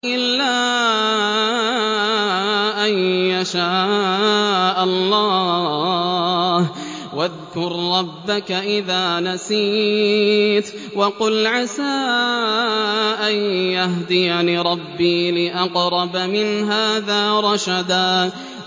إِلَّا أَن يَشَاءَ اللَّهُ ۚ وَاذْكُر رَّبَّكَ إِذَا نَسِيتَ وَقُلْ عَسَىٰ أَن يَهْدِيَنِ رَبِّي لِأَقْرَبَ مِنْ هَٰذَا رَشَدًا